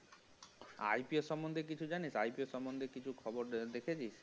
IPO সম্বন্ধে কিছু জানিস্? IPO সম্বন্ধে কিছু খবর দেখেছিস?